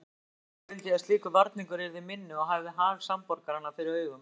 Auðvitað vildi ég að slíkur varningur yrði minni og hafði hag samborgaranna fyrir augum.